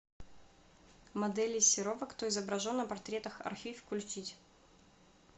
моделей серова кто изображен на портретах архив включить